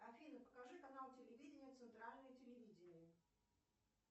афина покажи канал телевидения центральное телевидение